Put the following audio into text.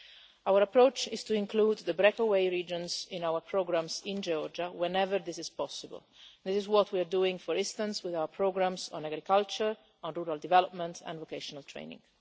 Our approach is to include the breakaway regions in our programmes in Georgia whenever this is possible. This is what we are doing, for instance, with our programmes on agriculture, on rural development and vocational training.